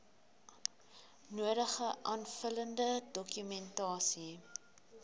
nodige aanvullende dokumentasie